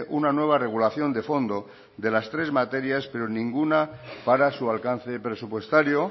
una nueva regulación de fondo de las tres materias pero ninguna para su alcance presupuestario